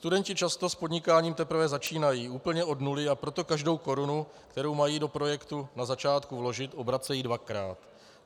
Studenti často s podnikáním teprve začínají úplně od nuly, a proto každou korunu, kterou mají do projektu na začátku vložit, obracejí dvakrát.